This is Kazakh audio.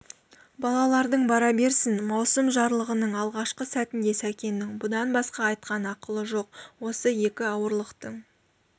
балаларың бара берсін маусым жарлығының алғашқы сәтінде сәкеннің бұдан басқа айтқан ақылы жоқ осы екі ауырлықтың